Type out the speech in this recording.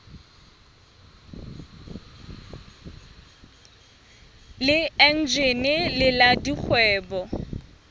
le eneji le la dikgwebo